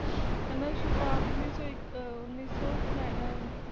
ਇਹਨਾਂ ਨੇ ਸ਼ੁਰੂਆਤ ਉੱਨੀ ਸੌ